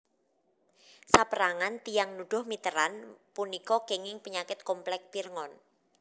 Saperangan tiyang nuduh Mitterand punika kenging penyakit komplek Pirngon